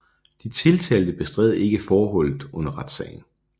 De tiltalte bestred ikke forholdet under retssagen